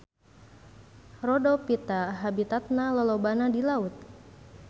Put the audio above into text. Rhodophyta habitatna lolobana di laut.